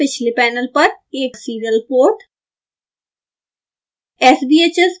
computer के पिछले panel पर एक serial port